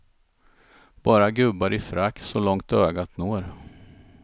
Bara gubbar i frack så långt ögat når.